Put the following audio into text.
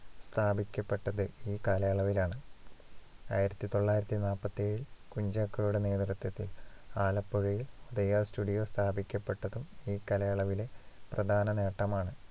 സ്ഥാപിക്കപ്പെട്ടത് ഈ കാലയളവിലാണ്. ആയിരത്തി തൊള്ളായിരത്തി നാപ്പത്തിയേഴില്‍ കുഞ്ചാക്കോയുടെ നേതൃത്വത്തിൽ ആലപ്പുഴയിൽ ഉദയാ studio സ്ഥാപിക്കപ്പെട്ടതും ഈ കാലയളവിലെ പ്രധാന നേട്ടമാണ്.